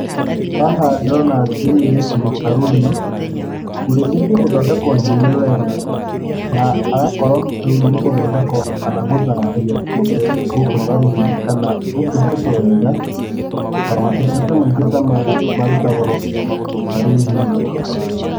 Haha ndona nĩ mũirĩtu wĩ caruni, ũrĩkĩtio gũthondekwo njuĩrĩ wega na agakorwo rĩu nĩguthondekwo kana gũthambio mũtwe gũkũ caruni kana gũtungatwo wega. Na matungata maingĩ ta maya marutagwo caruni-inĩ.